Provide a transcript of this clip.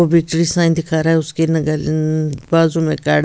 वो victory sign दिखा रहा है उसके बाजू में खड़ा --